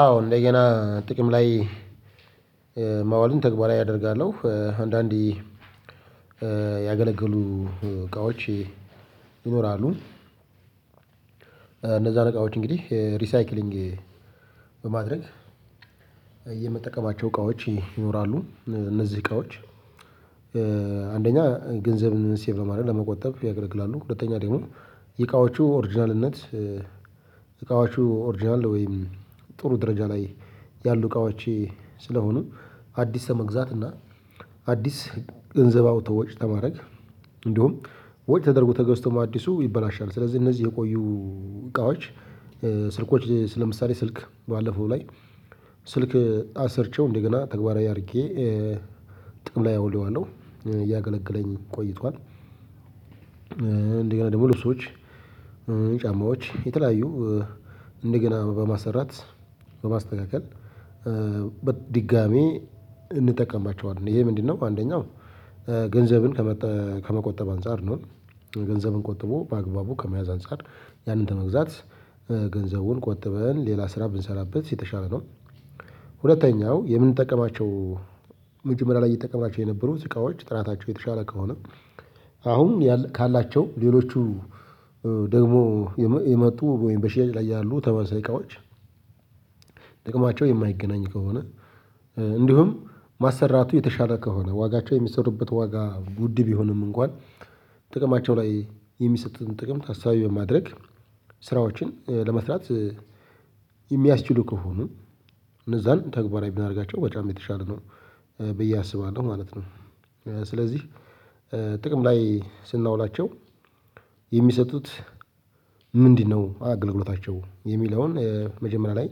አዎ እንደገና ጥቅም ላይ ማዋሉን ተግባራዊ አደርጋለሁ አንዳንዴ ያገለገሉ እቃዎች ይኖራሉ። እነዛ እቃዎች እንግዲህ ሪሳይክሊንግ በማድረግ የምጠቀማቸው እቃዎች ይኖራሉ እነዚህ እቃዎች። አንደኛ ገንዘብን ሴቭ ለማድረግ ለመቆጠብ ያገለግላሉ ሁለተኛ ደግሞ የእቃዎቹ ኦርጅናልነት እቃዎቹ ኦርጅናል ወይም ጥሩ ደረጃ ላይ ያሉ እቃዎች ስለሆኑ አዲስ ለመግዛት እና አዲስ ገንዘብ አውቶ ወጭ ተማረግ እንዲሁም ወጭ ተደርጎ ተገዝቶም አዲሱ ይበላሻል። ስለዚህ እነዚህ የቆዩ እቃዎች ስልኮች ስለ ለምሳሌ ስልክ ባለፈው ላይ ስልክ አሰርቼው እንደገና ተግባራዊ አድርጌ ጥቅም ላይ አውዬዋለሁ እያገለገለኝ ቆይቷል። እንደገና ደግሞ ልብሶች ጫማዎች የተለያዩ እንደገና በማሰራት በማስተካከል በድጋሚ እንጠቀማቸዋለን ይሄ ምንድነው? አንደኛው ገንዘብን ከመጠ ከመቆጠብ አንፃር ነው። ገንዘብን ቆጥቦ በአግባቡ ከመያዝ አንፃር ያንን ተመግዛት ገንዘቡን ቆጥበን ሌላ ስራ ብንሰራበት የተሻል ነው። ሁለተኛው የምንጠቀማቸው መጀመሪያ ላይ እየተጠቀምናቸው የነበሩት እቃዎች ጥራታቸው የተሻለ ከሆነ አሁን ያል ካላቸው ሌሎቹ ደግሞ የመ የመጡ ወይም በሽያጭ ላይ ያሉ ተመሳሳይ እቃዎች። ጥቅማቸው የማይገናኝ ከሆነ እንዲሁም ማሰራቱ የተሻለ ከሆነ ዋጋቸው የሚሰሩበት ዋጋ ጉድ ቢሆኑም እንኳን ጥቅማቸው ላይ የሚሰጡትን ጥቅም ታሳቢ በማድረግ ስራዎችን ለመስራት የሚያስችሉ ከሆኑ እነዛን ተግባራዊ ቢናደርጋቸው ወጫም የተሻለ ነው። ብዬ አስባለሁ ማለት ነው። ስለዚህ ጥቅም ላይ ስናውላቸው የሚሰጡት ምንድነው? አገልግሎታቸው የሚለውን መጀመሪያ ላይ